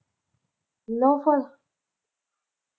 lower